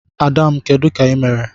Ada m, Kedu ka ị mere?